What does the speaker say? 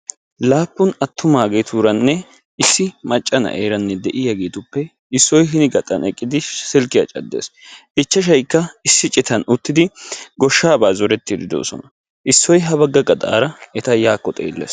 Laappun attumaageeturanne issi macca na'eeranne de'iyageetuppe issoy hinni gaxxan eqqidi silkkiya caddees. Ichchashshaykka issi citan uttidi gooshshaabaa zorettidi doosona. Issoy ha bagga gaxxaara eta yaakko xeellees.